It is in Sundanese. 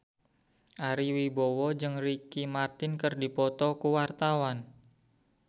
Ari Wibowo jeung Ricky Martin keur dipoto ku wartawan